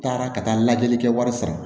Taara ka taa lajɛli kɛ wari sara